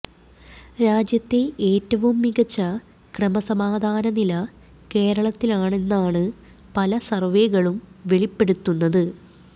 രാജ്യത്തെ ഏറ്റവും മികച്ച ക്രമസമാധാനനില കേരളത്തിലാണെന്നാണ് പല സര്വ്വെകളും വെളിപ്പെടുത്തുന്നത്